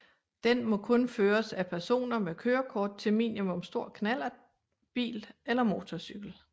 Den må kun føres af personer med kørekort til minimum stor knallert bil eller motorcykel